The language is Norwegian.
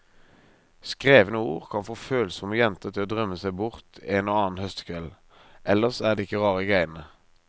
Skrevne ord kan få følsomme jenter til å drømme seg bort en og annen høstkveld, ellers er det ikke rare greiene.